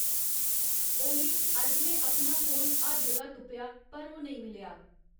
ओली अज्ज में अपना फोन हर जगह तुप्पेआ पर ओह् नेईं मिलेआ